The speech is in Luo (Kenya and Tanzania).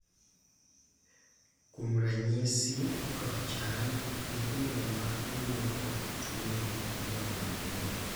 kuom ranyisi kod chal, nyithindo ma onyuol kod tuono nyalo dwaro bero